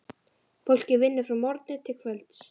Fólkið vinnur frá morgni til kvölds.